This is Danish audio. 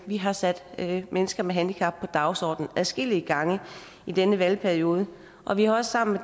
vi har sat mennesker med handicap på dagsordenen adskillige gange i denne valgperiode og vi har også sammen